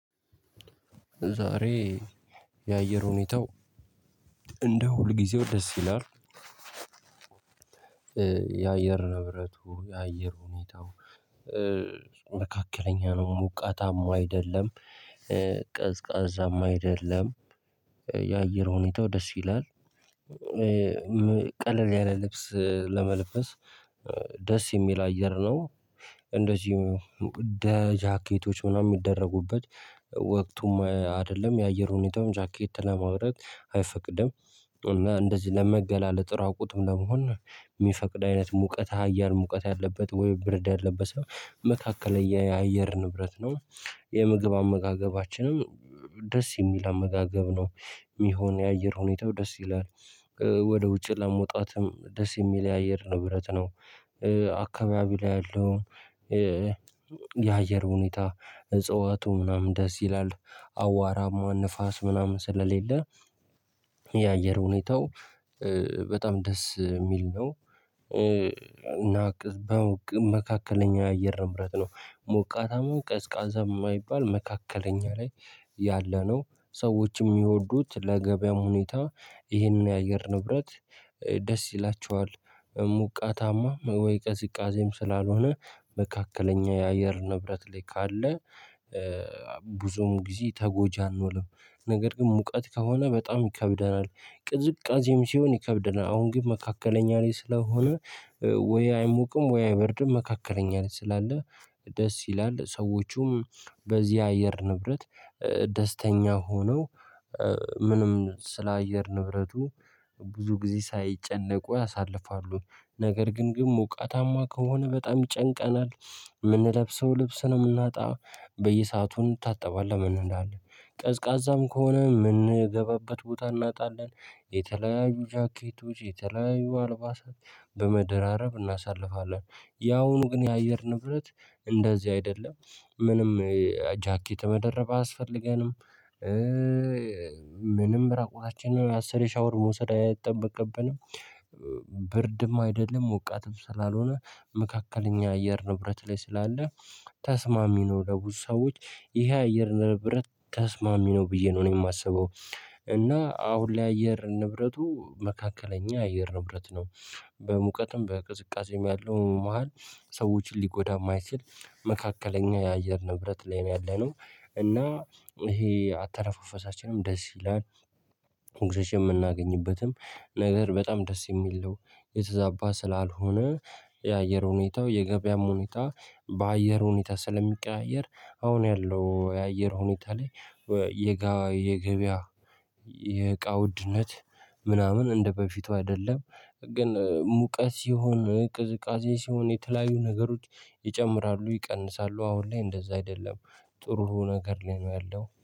ዛሬ የአየር ሁኔታው እንደ ሁልጊዜው ደስ ይላል። የአየር ንብረቱ የአየር ሁኔታው መካከለኛ ነው ሞቃታማ አይደለም ቀዝቃዛማ አይደለም የአየር ሁኔታው ደስ ይላል። ቀለል ያለ ልብስ ለመልበስ ደስ የሚል አየር ነው። እንደዚሁ ደ ጃኬቶች ምናምን የሚደረጉበት ወቅቱም አይደለም የአየር ሁኔታውን ጃኬት ለማውረድ አይፈቅድም እና እንደዚህ ለመገላለጥ ራቁትም ለመሆን የሚፈቅድ አይነት ሙቀት አያር ሙቀት ያለበት ወይ ብርድ ያለበት ሰው መካከለኛ የአየር ንብረት ነው። የምግብ አመጋገባችንም ደስ የሚል አመጋገብ ነው የሚሆነው የአየር ሁኔታው ደስ ይላል። ወደ ውጭ ለመውጣትም ደስ የሚል የአየር ንብረት ነው። አካባቢ ላይ ያለው። የአየር ሁኔታ እጽዋቱ ምናምን ደስ ይላል አዋራማ ንፋስ ምናምን ስለሌለ የአየር ሁኔታው በጣም ደስ የሚል ነው። መካከለኛው የአየር ንብረት ነው ሞቃታም ቀዝቃዛም የማይባል መካከለኛ ላይ ያለነው ሰዎችም የሚወዱት ለገበያው ሁኔታ ይህንን የአየር ንብረት ደስ ይላቸዋል። ሙቀታማ ወይ ቀዝቃዜም ስላልሆነ መካከለኛ የአየር ንብረት ላይ ካለ። ብዙም ጊዜ ተጎጂ አኖንም ነገር ግን ሙቀት ከሆነ በጣም ይከብደናል። ቅዝቃዜም ሲሆን ይከብደናል አሁን ግን መካከለኛ ላይ ስለሆነ። ወይ አይሞቅም ወይ አይበርድም መካከለኛ ላይ ስላለ ደስ ይላል ሰዎቹም በዚህ አየር ንብረት ደስተኛ ሆነው። ምንም ስለ አየር ንብረቱ ብዙ ጊዜ ሳይጨነቁ ያሳልፋሉ። ነገር ግን ግን ሞቃታማ ከሆነ በጣም ይጨንቀናል የምንለብሰው ልብስ ነው የምናጣ በየሰአቱ እንታጠባለን ምን እንላለን? ቀዝቃዛም ከሆነ የምንገባበት ቦታ እናጣለን። የተለያዩ ጃኬቶች የተለያዩ አልባሳት በመደራረብ እናሳልፋለን። ያውኑ ግን የአየር ንብረት እንደዚህ አይደለም። ምንም ጃኬት መደረብ አያስፈልገንም። ምንም ራቆታችንን አስሬ ሻወር መውሰድ አይጠበቅብንም። ብርድም አይደለም ሞቃትም ስላልሆነ መካከለኛ አየር ንብረት ላይ ስላለ ተስማሚ ነው ለብዙ ሰዎች ይሄ አየር ንብረት ተስማሚ ነው ብዬ ነው እኔ የማስበው። እና አሁን ላይ አየር ንብረቱ መካከለኛ አየር ንብረት ነው። በሙቀትም በቅዝቃዜም ያለው መሃል ሰዎችን ሊጎዳ የማይችል መካከለኛ የአየር ንብረት ላይ ነው ያለነው እና ይሄ አተረፋፈሳችንም ደስ ይላል። ኦክስጂን የምናገኝበትም ነገር በጣም ደስ የሚል ነው። የተዛባ ስላልሆነ የአየር ሁኔታው የገበያም ሁኔታ በአየር ሁኔታ ስለሚቀያየር አሁን ያለው የአየር ሁኔታ ላይ። የገበያ የቃውድነት ምናምን እንደበፊቱ አይደለም። ግን ሙቀት ሲሆን ቅዝቃዜ ሲሆን የተለያዩ ነገሮች ይጨምራሉ ይቀንሳሉ አሁን ላይ እንደዛ አይደለም። ጥሩ ነገር ላይ ነው ያለው